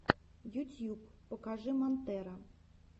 ютьюб покажи монтера